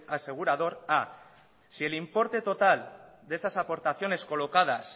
asegurador a si el importe total de esas aportaciones colocadas